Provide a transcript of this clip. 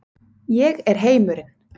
Ég er heimurinn.